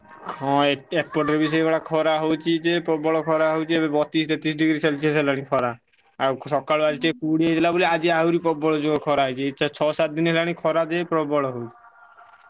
ହଁ ଏ ଏପଟରେ ବି ସେଇଭଳିଆ ଖରା ହଉଛି ଯେ ପ୍ରବଳ ଖରା ହଉଛି ଏବେ ବତିଶି ତେତିଶି degree celsius ହେଲାଣି ଖରା। ଆଉ ସକାଳୁ ଆଜି ଟିକେ କୁହୁଡି ହେଇଗଲା ବୋଲି ଆଜି ଆହୁରି ପ୍ରବଳ ଜୋରେ ଖରା ହେଇଚି। ଏଇ ଚା ଛଅ ସାତ ଦିନି ହେଲାଣି ଖରା ଯେ ପ୍ରବଳ ହଉଛି।